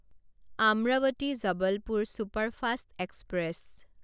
Amravati Jabalpur superfast express